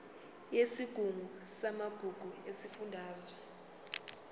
yesigungu samagugu sesifundazwe